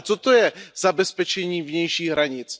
Ale co to je zabezpečení vnějších hranic?